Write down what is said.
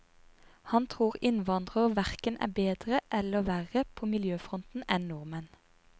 Han tror innvandrere hverken er bedre eller verre på miljøfronten enn nordmenn.